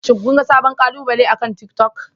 Shin kun ga sabon kalubale akan tiktok?